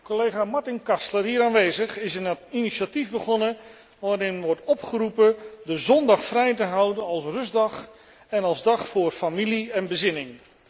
Collega Martin Kastler, hier aanwezig, is een initiatief begonnen waarin wordt opgeroepen de zondag vrij te houden als rustdag en als dag voor familie en bezinning.